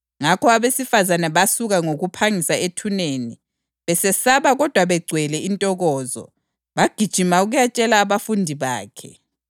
Ngakho abesifazane basuka ngokuphangisa ethuneni, besesaba kodwa begcwele intokozo, bagijima ukuyatshela abafundi bakhe.